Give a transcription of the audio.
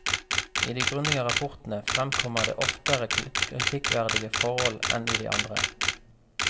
I de grundige rapportene fremkommer det oftere kritikkverdige forhold enn i de andre.